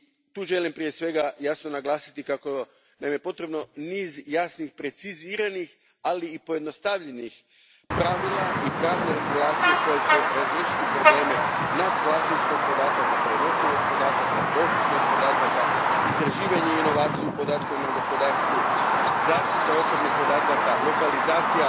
Tu želim prije svega jasno naglasiti kako nam je potreban niz jasno preciziranih, ali i pojednostavljenih pravila i pravne regulacije koji će razriješiti probleme u pogledu vlasništva podataka, prenosivosti podataka, dostupnosti podataka, istraživanja i inovacija u podatkovnom gospodarstvu, zaštite osobnih podataka, lokalizacije